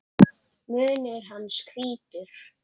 Munnur hans hvítur.